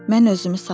Mən özümü saxladım.